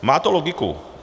Má to logiku.